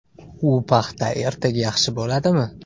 U paxta ertaga yaxshi bo‘ladimi?